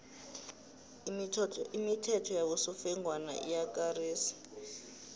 imithetho yabosofengwana iyakarisa